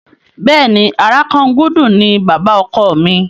Bẹ́ẹ̀ni, Àràkangúdú ni bàbá ọkọ mi.